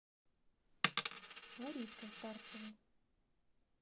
лариской старцевой